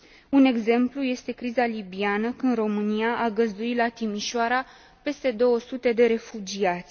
Un exemplu este criza libiană, când România a găzduit la Timișoara peste 200 de refugiați.